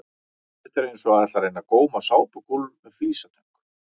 Þetta er eins og að ætla að reyna að góma sápukúlur með flísatöng!